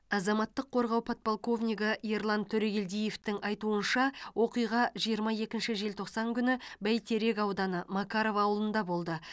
азаматтық қорғау подполковнигі ерлан төрегелдиевтің айтуынша оқиға жиырма екінші желтоқсан күні бәйтерек ауданы макаров ауылында болды